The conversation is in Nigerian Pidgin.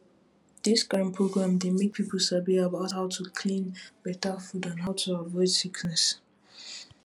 dis kind programs dey make people sabi about how to dey clean better food and how to avoid sickness